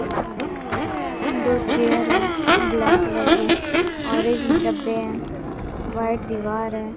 दो चेयर हैं black colour की ऑरेंज डब्बे हैं व्हाइट दीवार है।